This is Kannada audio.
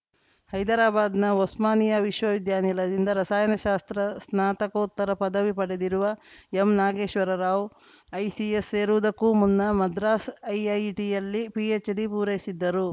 ಹೈದರಾಬಾದ್‌ನ ಒಸ್ಮಾನಿಯಾ ವಿಶ್ವವಿದ್ಯಾಲಯದಿಂದ ರಸಾಯನಶಾಸ್ತ್ರ ಸ್ನಾತಕೋತ್ತರ ಪದವಿ ಪಡೆದಿರುವ ಎಂ ನಾಗೇಶ್ವರ ರಾವ್‌ ಐಸಿಎಸ್‌ ಸೇರುವುದಕ್ಕೂ ಮುನ್ನ ಮದ್ರಾಸ್‌ ಐಐಟಿಯಲ್ಲಿ ಪಿಎಚ್‌ಡಿ ಪೂರೈಸಿದ್ದರು